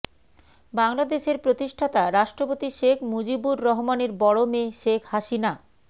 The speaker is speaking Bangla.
বাংলাদেশের প্রতিষ্ঠাতা রাষ্ট্রপতি শেখ মুজিবুর রহমানের বড় মেয়ে শেখ হাসিনা